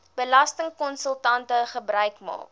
belastingkonsultante gebruik maak